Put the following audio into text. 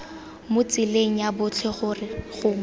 mo tseleng ya botlhe gongwe